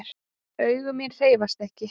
Augu mín hreyfast ekki.